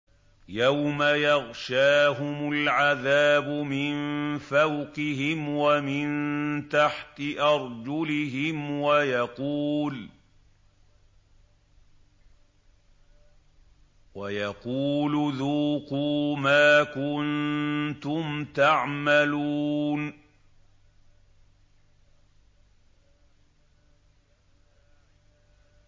يَوْمَ يَغْشَاهُمُ الْعَذَابُ مِن فَوْقِهِمْ وَمِن تَحْتِ أَرْجُلِهِمْ وَيَقُولُ ذُوقُوا مَا كُنتُمْ تَعْمَلُونَ